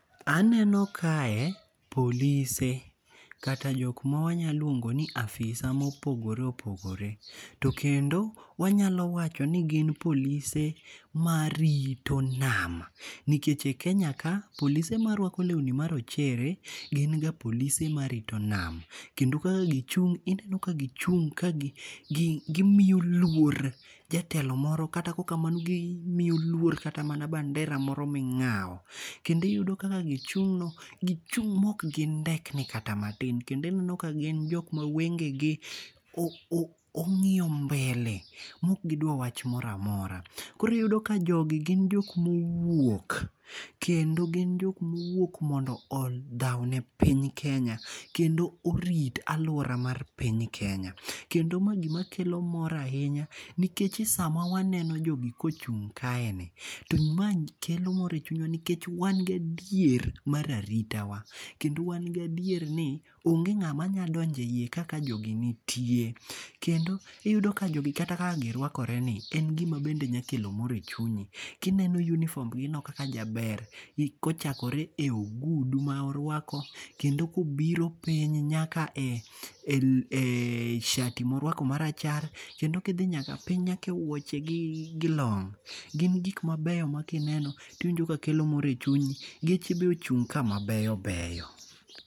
Aneno kae polise kata jok ma wanyaluongo ni afisa mopogore opogore. To kendo wanyalo wacho ni gin polise marito nam nikech e Kenya ka polise marwako lewni ma rochere gin ga polise marito nam. Kende kaka gichung' ineno ka gichung' ka gimiyo luor jatelo moro kata kokamano gimiyo luor kata mana bandera moro ming'aw. Kendo iyudo kaka gichung' no gichung' ma ok gindekni kata matin. Kendo ineno ka gin jok ma wenge gi ok ong'iyo mbele mok gidwar wach moro amora. Koro iyudo ka jogi gin jok mowuok kendo gin jok mowuok mondo odhaw ne piny Kenya kendo orit aluora mar piny Kenya. Kendo ma gima kelo mor ahinya nikech e sama waneno jogi kochung' kaeni to mae kelo mor e chunywa nikech wan gin adier mar aritawa. Kendo wan gi adier ni onge ng'ama nya donjo ka jogi nitie. Kendo iyudo ka jogi kata kaka girwakore en gima bende nya kelo mor e chunyi. Kineno uniform gino kaka jaber. Kochakore e ogudu ma orwako kendo kobiro piny nyaka e sharti morwako marachar. Kendo kidhi nyaka piny nyaka e wuoche gi gi long' gin gik mabeyo ma kineno tiwinjo ka kelo mor e chunyi. Geche be ochung' ka mabeyo beyo.